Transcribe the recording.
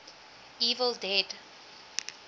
evil dead